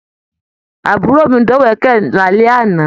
Àbúrò mí dọ̀wẹ̀kẹ̀ l'alẹ àna.